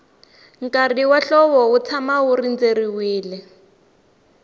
nkarhi wa hlovo wu tshama wu rindzeriwile